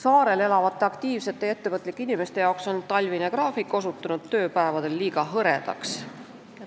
Saarel elavate aktiivsete ja ettevõtlike inimeste jaoks on talvine graafik osutunud tööpäevadel liiga hõredaks.